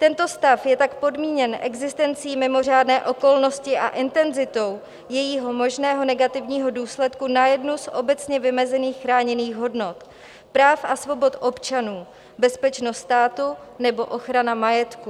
Tento stav je tak podmíněn existencí mimořádné okolnosti a intenzitou jejího možného negativního důsledku na jednu z obecně vymezených chráněných hodnot práv a svobod občanů, bezpečnost státu nebo ochrana majetku.